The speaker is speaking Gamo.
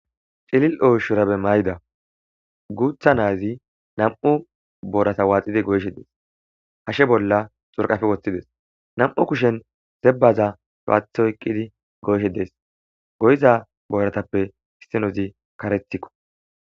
Ilili'o shurabbe mayidda guththa nazzi nam''u borata waxxiddi goyishshe dess .hashshe bolla xuriqqappe woththididesi .nam''u kushshen zebazza loyiththi oyikkidi ,goyishshe desi.goyiza borazappe issinozzi kaareththikko.